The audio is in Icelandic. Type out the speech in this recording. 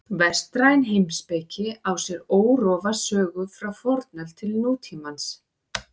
Vestræn heimspeki á sér órofa sögu frá fornöld til nútímans.